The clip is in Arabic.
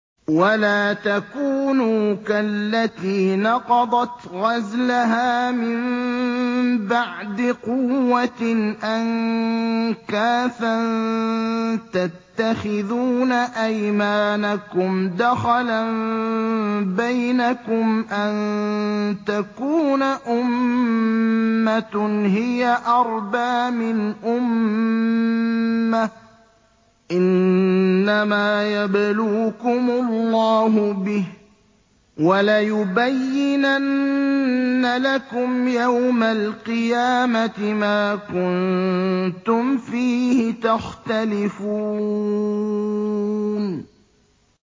وَلَا تَكُونُوا كَالَّتِي نَقَضَتْ غَزْلَهَا مِن بَعْدِ قُوَّةٍ أَنكَاثًا تَتَّخِذُونَ أَيْمَانَكُمْ دَخَلًا بَيْنَكُمْ أَن تَكُونَ أُمَّةٌ هِيَ أَرْبَىٰ مِنْ أُمَّةٍ ۚ إِنَّمَا يَبْلُوكُمُ اللَّهُ بِهِ ۚ وَلَيُبَيِّنَنَّ لَكُمْ يَوْمَ الْقِيَامَةِ مَا كُنتُمْ فِيهِ تَخْتَلِفُونَ